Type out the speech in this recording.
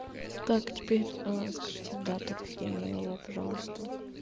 как теперь скажите дату рождения его пожалуйста